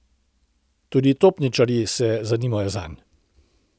Tudi topničarji se zanimajo zanj.